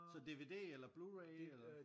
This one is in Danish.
Så DVD eller Bluray eller?